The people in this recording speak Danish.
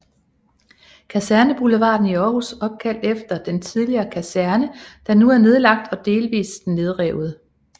Kaserneboulevarden i Aarhus opkaldt efter den tidligere kaserne der nu er nedlagt og delvis nedrevet